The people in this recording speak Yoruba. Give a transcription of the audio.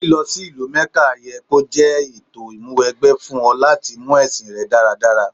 Lílọ sí ìlú Mẹ́kà ye kó jẹ́ ètò ìmúwẹgbẹ́ fún ọ láti mú ẹ̀sìn rẹ dáradára.